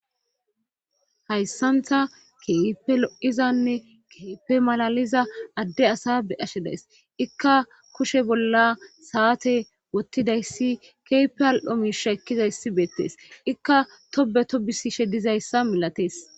hayssanta keefe lo7izanne keepe malaliza adde asa be ashe days ikka kushe bolla saate wottidayssi keepe al7o miisha ekkizayssi beettees ikka tobe to bisishe dizayssa milatees